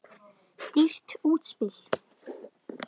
Dýrt útspil.